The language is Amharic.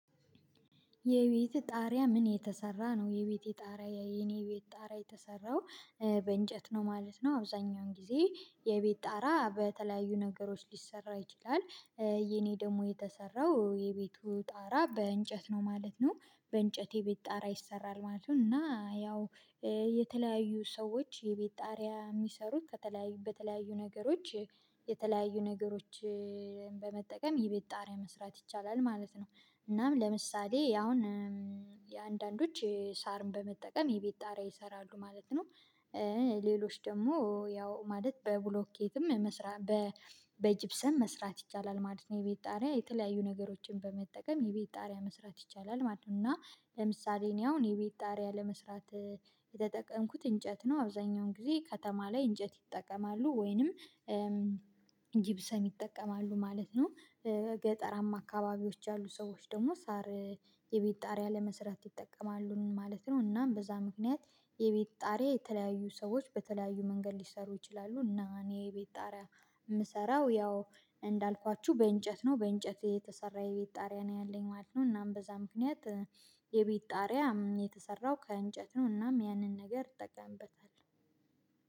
የቤትህ ጣሪያ ምን የተሰራ ነው? የቤቴ ጣሪያ የኔ ቤት ጣሪያ የተሰራው በእንጨት ነው ማለት ነው። አብዛኛውን ጊዜ የቤት ጣራ በተለያዩ ነገሮች ሊሰራ ይችላል። የኔ ደግሞ የተሰራው የቤቱ ጣራ በእንጨት ነው ማለት ነው። በእንጨት የቤት ጣራ ይሰራል ማለት ነው። እና ያው የተለያዩ ሰዎች የቤት ጣሪያ የሚሰሩት። በተለያዩ ነገሮች የተለያዩ ነገሮች በመጠቀም የቤት ጣሪያ መስራት ይቻላል ማለት ነው። እናም ለምሳሌ አሁን የአንዳንዶች ሳርን በመጠቀም የቤት ጣሪያ ይሰራሉ ማለት ነው። ሌሎች ደግሞ ያው ማለት በብሎኬትም መስራት በጂብሰም መስራት ይቻላል ማለት ነው። የቤት ጣሪያ የተለያዩ ነገሮችን በመጠቀም የቤት ጣሪያ መስራት ይቻላል ማለት ነው። እና ለምሳሌ እኔ አሁን የቤት ጣሪያ ለመስራት የተጠቀምኩት እንጨት ነው። አብዛኛውን ጊዜ ከተማ ላይ እንጨት ይጠቀማሉ ወይንም ጊብሰም ይጠቀማሉ ማለት ነው። ገጠራማ አካባቢዎች ያሉ ሰዎች ደግሞ ሳር የቤት ጣሪያ ለመስራት ይጠቀማሉ ማለት ነው። እናም በዛ ምክንያት የቤት ጣሪያ የተለያዩ ሰዎች በተለያዩ መንገድ ሊሰሩ ይችላሉ እና እኔ የቤት ጣሪያ የምሰራው ያው እንዳልኳችሁ በእንጨት ነው በእንጨት የተሰራ የቤት ጣሪያ ነው ያለኝ ማለት ነው። እናም በዛ ምክንያት የቤት ጣሪያ የተሰራው ከእንጨት ነው። እናም ያንን ነገር እጠቀምበታለው